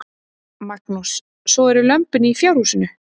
Magnús: Svo eru lömbin í fjárhúsinu?